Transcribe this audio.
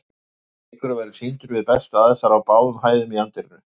Leikurinn verður sýndur við bestu aðstæður á báðum hæðum í anddyrinu.